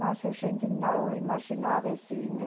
Mas a gente não imaginava assim.